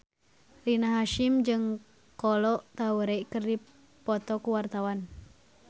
Rina Hasyim jeung Kolo Taure keur dipoto ku wartawan